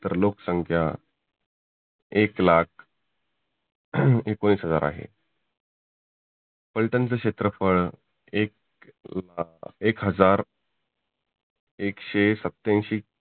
तर लोक संख्या एक लाख एकोनीस हजार आहे. फल्टनचं क्षेत्रफळ एक एक हजार एकशे सत्त्यांशी